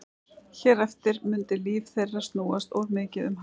Hér eftir mundi líf þeirra snúast of mikið um hana.